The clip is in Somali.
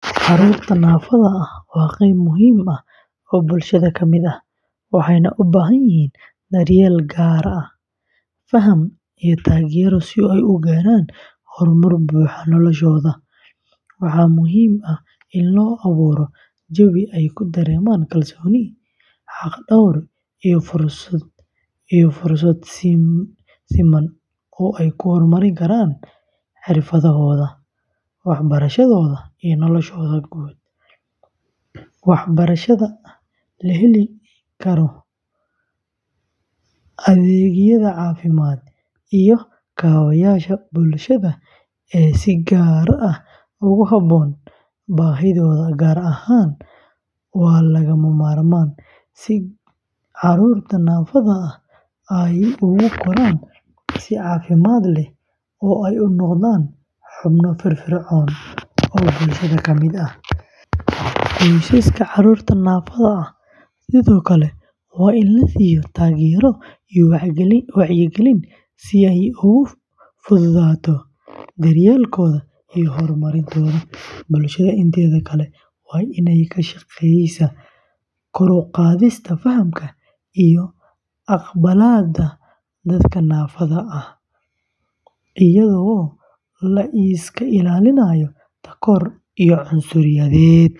Carruurta naafada ah waa qeyb muhiim ah oo bulshada ka mid ah, waxayna u baahan yihiin daryeel gaar ah, faham, iyo taageero si ay u gaaraan horumar buuxa noloshooda. Waxaa muhiim ah in la abuuro jawi ay ku dareemaan kalsooni, xaqdhawr, iyo fursado siman oo ay ku horumari karaan xirfadahooda, waxbarashadooda, iyo noloshooda guud. Waxbarashada la heli karo, adeegyada caafimaad, iyo kaabayaasha bulshada ee si gaar ah ugu habboon baahidooda gaarka ah waa lagama maarmaan si carruurta naafada ah ay ugu koraan si caafimaad leh oo ay u noqdaan xubno firfircoon oo bulshada ka mid ah. Qoysaska carruurta naafada ah sidoo kale waa in la siiyo taageero iyo wacyigelin si ay ugu fududaato daryeelkooda iyo horumarintooda. Bulshada inteeda kale waa in ay ka shaqeysaa kor u qaadista fahamka iyo aqbalaadda dadka naafada ah, iyadoo la iska ilaalinayo takoor iyo cunsuriyad.